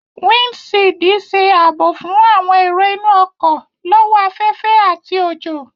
Windṣiidi ṣe aabo fun awọn ero inu ọkọ lọ́wọ́ afẹfẹ ati ojo